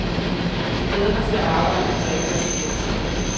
Jeg glæder mig til at arbejde med drikkevandsdirektivet.